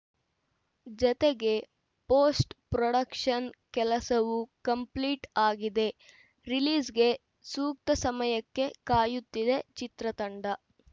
ಜತೆಗೆ post production ಕೆಲಸವೂ complete ಆಗಿದೆ ರಿಲೀಸ್‌ಗೆ ಸೂಕ್ತ ಸಮಯಕ್ಕೆ ಕಾಯುತ್ತಿದೆ ಚಿತ್ರತಂಡ